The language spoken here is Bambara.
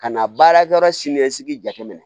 Ka na baara yɔrɔ siniɲɛsigi jate minɛ